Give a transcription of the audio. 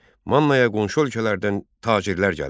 Mannaya qonşu ölkələrdən tacirlər gəlirdi.